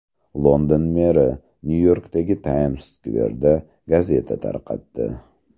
London meri Nyu-Yorkdagi Tayms-skverda gazeta tarqatdi.